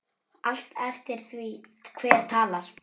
Allt eftir því hver talar.